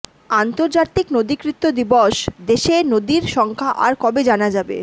আন্তর্জাতিক নদীকৃত্য দিবস দেশে নদীর সংখ্যা আর কবে জানা যাবে